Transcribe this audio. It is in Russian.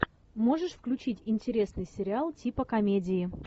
можешь включить интересный сериал типа комедии